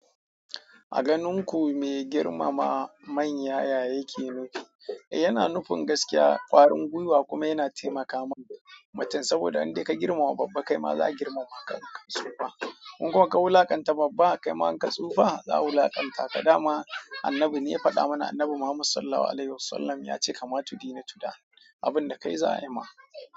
A ganin ku me girmama manya, ya yake nufi? Yana nufin gaskiya ƙwarin gwiwa kuma yana taimaka ma mutum saboda in dai ka girmama babba kai ma za a girmama ka. Ka tsufa. In kuma ka wulaƙanta babba kai ma in ka tsufa za a wulaƙanta ka. Da ma Annabi ne ya faɗa mana. Annabi Muhammad Sallallahu Alaihi Wasallam ya ce "kama tudini tuda" abin da kai za a yi ma.